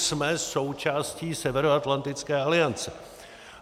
Jsme součástí Severoatlantické aliance.